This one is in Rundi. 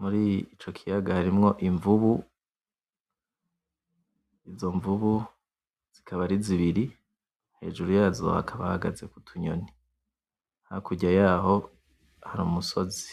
muri ico kiyaga harimwo imvubu, izo mvubu zikaba ari zibiri hejuru yazo hakaba hahagaze utunyoni hakurya yaho hari umusozi.